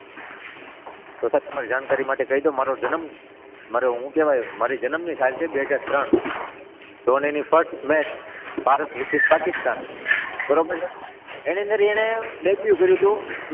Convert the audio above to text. Sir તમારી જાણકારી માટે કહી દઉં મારો જનમ, મારે શું કહેવાય મારી જનમની સાલ છે બે હજાર ત્રણ ધોનીની first match Bharat versus Pakistan બરાબર એની અંદર એને ડેબ્યુ કર્યું હતું.